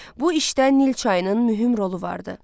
Bu işdə Nil çayının mühüm rolu vardı.